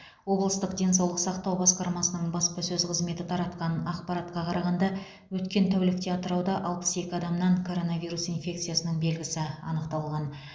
облыстық денсаулық сақтау басқармасының баспасөз қызметі таратқан ақпаратқа қарағанда өткен тәулікте атырауда алпыс екі адамнан короновирус инфекциясының белгісі анықталған